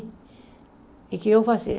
E o que eu fazia?